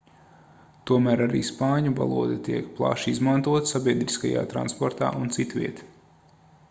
tomēr arī spāņu valoda tiek plaši izmantota sabiedriskajā transportā un citviet